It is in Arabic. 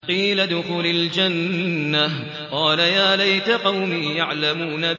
قِيلَ ادْخُلِ الْجَنَّةَ ۖ قَالَ يَا لَيْتَ قَوْمِي يَعْلَمُونَ